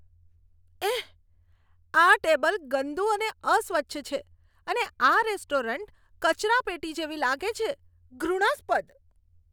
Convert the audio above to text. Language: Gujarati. એહ! આ ટેબલ ગંદુ અને અસ્વચ્છ છે અને આ રેસ્ટોરન્ટ કચરાપેટી જેવી લાગે છે, ઘૃણાસ્પદ! !